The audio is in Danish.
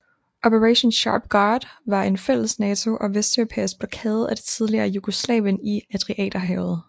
Operation Sharp Guard var en fælles NATO og vesteuropæisk blokade af det tidligere Jugoslavien i Adriaterhavet